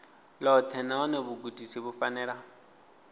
ḽoṱhe nahone vhugudisi vhu fanela